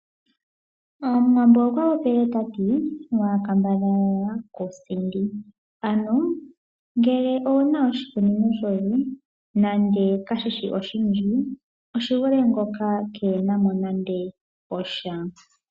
Omuwambo okwa popile tati: "Waa kambadhala ku sindi", ano ngele owu na oshikunino shoye nande kashishi oshindji oshi vule ngoka keena mo nande osha.